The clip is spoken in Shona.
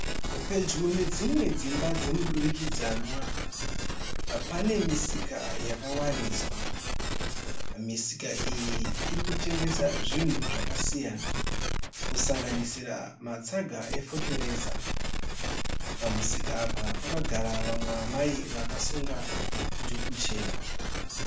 Pedyo nedzimwe dzimba dzemudurikidzanwa pane misika yakawaridzwa. Misika iyi iri kutengesa zvinhu zvakasiyana kusanganisira matsaga efotereza. Pamusika apa pakagara vamwe amai vakasunga dhuku chena.